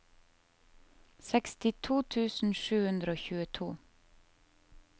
sekstito tusen sju hundre og tjueto